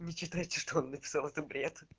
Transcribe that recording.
не читайте что он написал это бред